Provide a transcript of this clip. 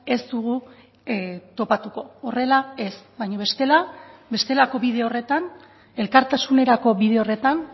ez dugu topatuko horrela ez baina bestela bestelako bide horretan elkartasunerako bide horretan